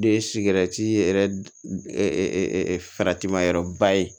De ye sigɛriti yɛrɛ faratima yɔrɔba ye